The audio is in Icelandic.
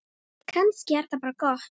Kannski er það bara gott.